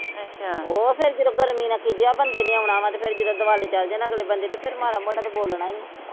ਉਹ ਫਿਰ ਜਦੋ ਗਰਮੀ ਨਾ ਖਿਜਿਆ ਬੰਦੇ ਨੇ ਆਉਣਾ ਵਾ ਤੇ ਫਿਰ ਜਦੋ ਦੁਆਲੇ ਚਲ ਜਾਣਾ ਅਗਲੇ ਬੰਦੇ ਤੇ ਫਿਰ ਮਾੜਾ ਮੋਟਾ ਤੇ ਬੋਲੋਨਾ ਈਆ।